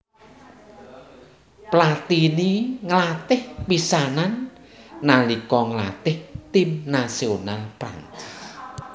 Platini nglatih pisanan nalika nglatih tim nasional Prancis